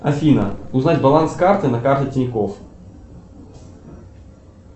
афина узнать баланс карты на карте тинькофф